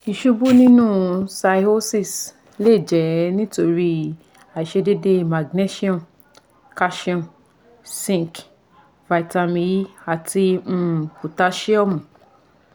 Iṣubu ninu cirrhosis le jẹ nitori aiṣedede Magnesium, Calcium, Zinc, Vitamin E ati um Potasiomu